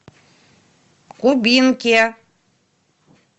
кубинке